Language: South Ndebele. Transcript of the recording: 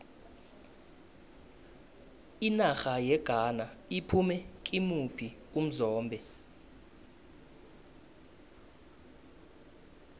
inarha yeghana iphume kimuphi umzombe